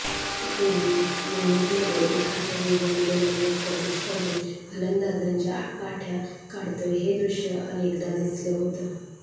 पूर्वी विंडीजमध्ये एखादा वेगवान गोलंदाज प्रतिस्पर्धी फलंदाजांच्या काठय़ा काढतोय हे दृश्य अनेकदा दिसलं होतं